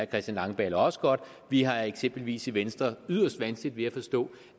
christian langballe også godt vi har eksempelvis i venstre yderst vanskeligt ved at forstå